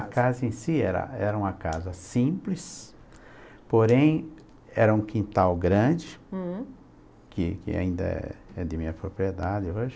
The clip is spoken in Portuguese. A casa em si era era uma casa simples, porém era um quintal grande, hm, que que ainda é de minha propriedade hoje.